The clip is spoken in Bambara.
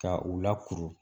Ka u lakuru